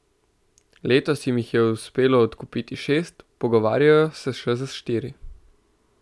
Letos jim jih je uspelo odkupiti šest, pogovarjajo se še za štiri.